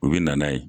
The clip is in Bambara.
U bɛ na n'a ye